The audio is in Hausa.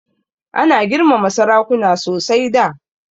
Ana girmama sarakuna sosai da.